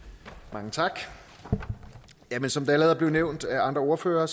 mange tak jamen som det allerede er blevet nævnt af andre ordførere